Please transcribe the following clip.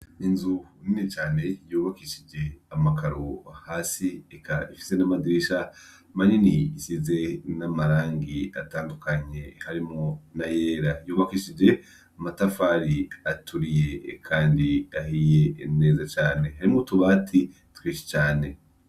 Inzu nini cane yubakishije amakaro hasi eka ifise n'amadirisha manini asize n'amarangi atandukanye harimwo n'ayera. Yubakishije amatafari aturiye kandi ahiye neza cane. Harimwo utubati twinshi cane.